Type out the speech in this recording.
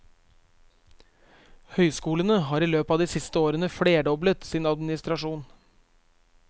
Høyskolene har i løpet av de siste årene flerdoblet sin administrasjon.